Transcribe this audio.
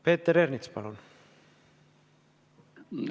Peeter Ernits, palun!